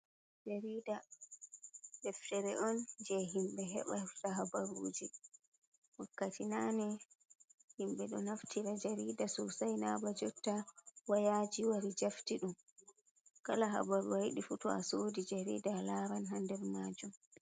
Jarida deftere on je himɓe heɓa hefta habaruji, wakkati nane himɓe ɗo naftira jarida sosai naba jotta woyaji wari jafti ɗum, kala habaru ayiɗi fu to a sodi jarida atawan ha nder majum.